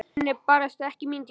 Hann er barasta ekki mín týpa.